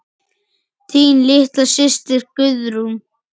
Þín litla systir Guðrún.